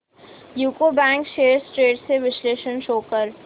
UCO bank shares trends चे विश्लेषण show कर